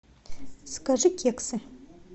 закажи кексы